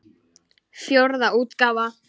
Fjórða útgáfa.